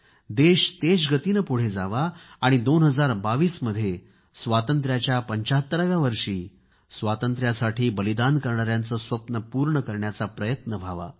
देश तेजगतीने पुढे जावा आणि दोन हजार बावीस 2022 मध्ये स्वातंत्र्याच्याा 75व्या वर्षी स्वातंत्र्यासाठी बलिदान करणाऱ्यांेचे स्वप्न पूर्ण करण्याचा प्रयत्न व्हातवा